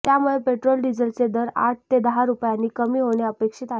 त्यामुळे पेट्रोल डिझेलचे दर आठ ते दहा रुपयानी कमी होणे अपेक्षित आहे